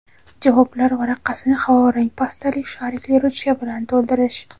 javoblar varaqasini havo rang pastali sharikli ruchka bilan to‘ldirish;.